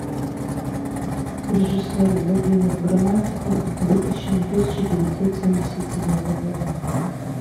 режиссер владимир грамматиков выпущено тысяча девятьсот семьдесят седьмого года